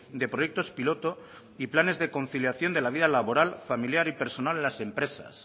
de proyectos piloto y planes de conciliación de la vida laboral familiar y personal en las empresas